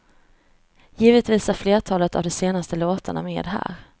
Givetvis är flertalet av de senaste låtarna med här.